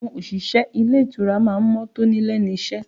Àwọn òṣìṣẹ́ ilé ìtura má ń mọ́ tóní lẹ́nu iṣẹ́